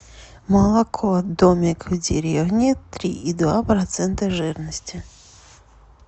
молоко домик в деревне три и два процента жирности